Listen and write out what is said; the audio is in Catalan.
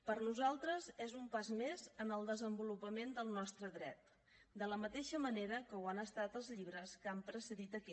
per nosaltres és un pas més en el desenvolupament del nostre dret de la mateixa manera que ho han estat els llibres que han precedit aquest